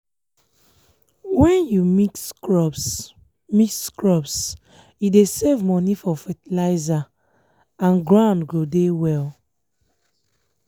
when you mix crops mix crops e dey save money for fertilizer and ground go dey well.